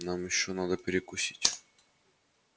нам ещё надо перекусить где-нибудь